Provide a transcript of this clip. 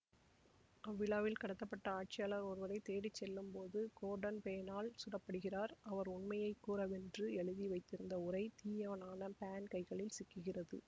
அவ்விழாவில் கடத்தப்பட்ட ஆட்சியாளர் ஒருவரை தேடி செல்லும் போது கோர்டன் பேனால் சுடப்படுகிறார் அவர் உண்மையை கூறவென்று எழுதி வைத்திருந்த உரை தீயவனான பேன் கைகளில் சிக்குகிறது